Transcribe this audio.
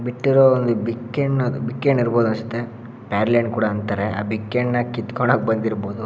ಬಿಟ್ಟಿರೋ ಒಂದು ಬಿಕ್ಕೆ ಹಣ್ಣು ಬಿಕ್ಕೆ ಹಣ್ಣು ಇರ್ಬೋದು ಅಷ್ಟೇ ಪೇರಳೆ ಹಣ್ಣು ಕೂಡ ಅಂತಾರೆ. ಆ ಬಿಕ್ಕೆ ಹಣ್ಣನ್ನ ಕಿತ್ಕೊಳ್ಳೋದಕ್ಕೆ ಬಂದಿರಬಹುದು.